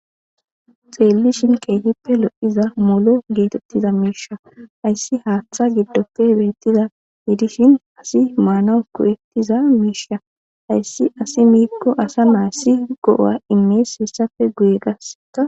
xeelli shin keehippe lo7iza molo geetettiza miisha hayssi haaththa giddoppe beettiza yiidishin asi maana ko7etiza miisha hayssi asi miikko asa mayssi go7a imees hessafe guye gasea